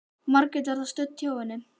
Margrét var þar stödd hjá henni en